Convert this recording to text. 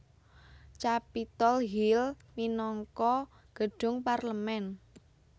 Capitol Hill minangka gedhung parlemen